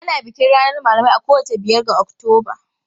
Ana bikin ranar malamai a kowace biyar ga Oktoba.